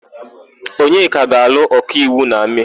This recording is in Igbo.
Onyeka ga-alụ ọkaiwu na Mee.